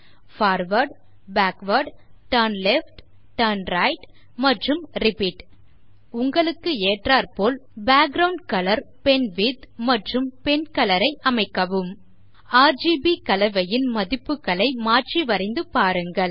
forward backward turn left turn right மற்றும் repeat உங்களுக்கு ஏற்றாற்போல் பேக்கிரவுண்ட் கலர் பென்விட்த் மற்றும் பென்கலர் ஐ அமைக்கவும் ஆர்ஜிபி கலவையின் மதிப்புகளை மாற்றி வரைந்து பாருங்கள்